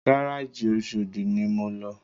Gárájì Oṣòdi ni mo lọ